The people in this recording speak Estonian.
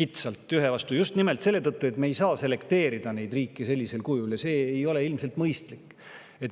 kitsalt ühe vastu, just nimelt selle tõttu, et me ei saa riike sellisel kujul selekteerida, see ei ole ilmselt mõistlik.